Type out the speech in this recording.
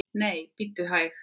Nei, bíddu nú hæg!